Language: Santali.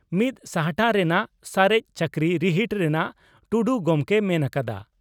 ᱢᱤᱛ ᱥᱟᱦᱴᱟ ᱨᱮᱱᱟᱜ ᱥᱟᱨᱮᱡ ᱪᱟᱹᱠᱨᱤ ᱨᱤᱦᱤᱴ ᱨᱮᱱᱟᱜᱹᱹᱹᱹᱹ ᱴᱩᱰᱩ ᱜᱚᱢᱠᱮᱭ ᱢᱮᱱ ᱟᱠᱟᱫᱟ ᱾